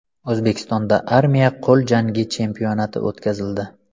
O‘zbekistonda armiya qo‘l jangi chempionati o‘tkazildi.